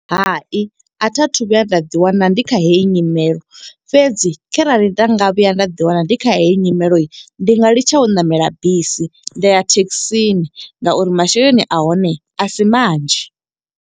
Hai a tha thu vhuya nda ḓi wana ndi kha heyi nyimelo. Fhedzi kharali nda nga vhuya nda ḓi wana ndi kha heyi nyimelo, ndi nga litsha u ṋamela bisi. Nda ya thekhisini nga uri masheleni, a hone a si manzhi.